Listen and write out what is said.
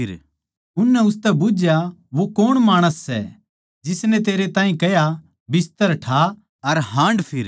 उननै उसतै बुझ्झया वो कौण माणस सै जिसनै तेरै तै कह्या बिस्तर ठा अर हाँडफिर